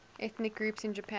ethnic groups in japan